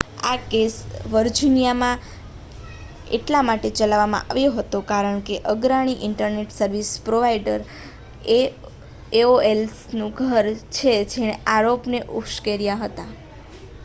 આ કેસ વર્જિનિયામાં એટલા માટે ચલાવવામાં આવ્યો હતો કારણ કે તે અગ્રણી ઇન્ટરનેટ સર્વિસ પ્રોવાઇડર એઓએલનું ઘર છે જેણે આરોપોને ઉશ્કેર્યા હતા